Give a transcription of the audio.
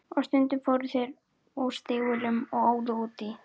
Og stundum fóru þeir úr stígvélunum og óðu út í.